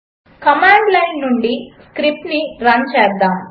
command line నుండి script run చేద్దాము